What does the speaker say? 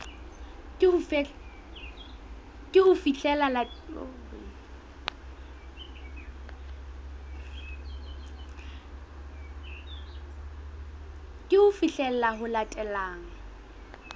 ke ho fihlela ho latelang